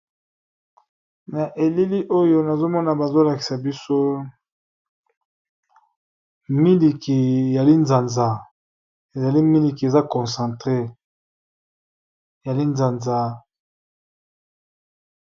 Na elili oyo nazomona bazolakisa biso miliki ya linzanza ezali miliki eza concentre ya linzanzaa